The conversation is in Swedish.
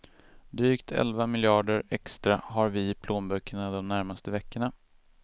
Drygt elva miljarder extra har vi i plånböckerna de närmaste veckorna.